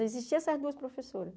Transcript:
Só existiam essas duas professoras.